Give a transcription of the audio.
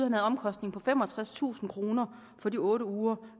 en omkostning på femogtredstusind kroner for de otte uger